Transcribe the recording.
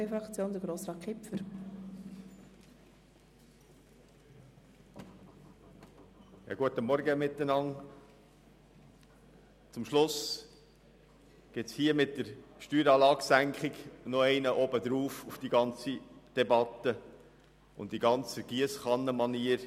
Zum Schluss gibt es jetzt mit der Senkung der Steueranlage noch einen oben drauf auf die ganze Debatte und die ganze Giesskannenmanier.